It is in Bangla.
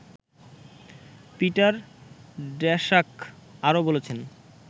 পিটার ড্যাশাক আরো বলছেন